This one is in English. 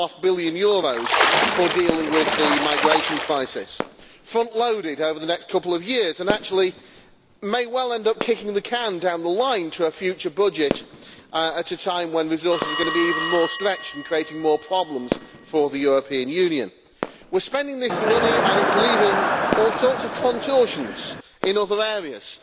1.5 billion for dealing with the migration crisis, frontloaded over the next couple of years, and which actually may well end up kicking the can down the line to a future budget at a time when resources are going to be even more stretched and creating more problems for the European Union. We are spending this money and it is leaving all sorts of contortions in other areas